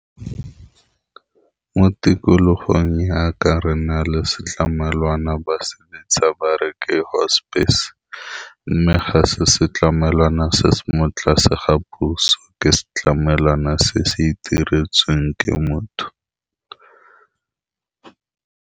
Mo tikologong yaka re nale se ditlamelwana ba se ntsha ba re ke hospice, mme ga se se tlamelana se se mo tlase ga puso, ke se tlamelana se se itiretsweng ke motho.